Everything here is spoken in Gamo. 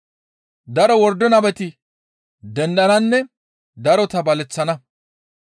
Daro wordo nabeti dendananne darota baleththana.